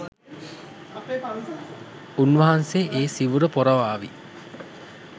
උන්වහන්සේ ඒ සිවුර පොරවාවි.